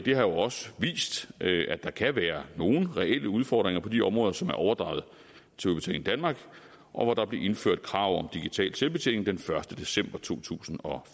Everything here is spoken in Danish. jo også vist at der kan være nogle reelle udfordringer på de områder som er overdraget til udbetaling danmark og hvor der blev indført krav om digital selvbetjening den første december to tusind og